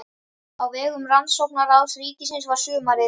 Á vegum Rannsóknaráðs ríkisins var sumarið